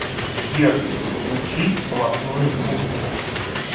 сбер включи блатную музыку